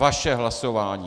Vaše hlasování.